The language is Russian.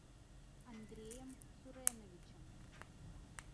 андреем суреновичем